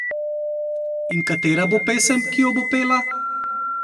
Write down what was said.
In katera bo pesem, ki jo bo pela?